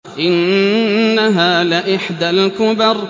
إِنَّهَا لَإِحْدَى الْكُبَرِ